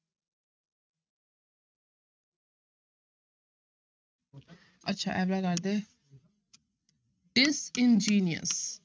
ਅੱਛਾ ਇਹ ਵਾਲਾ disingenuous